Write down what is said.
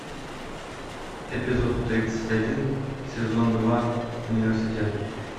эпизод тридцать один сезон два университет